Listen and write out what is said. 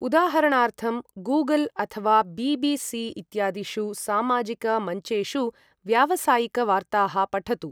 उदाहरणार्थं, गूगल् अथवा बी.बी.सी. इत्यादिषु सामाजिकमञ्चेषु व्यावसायिकवार्ताः पठतु।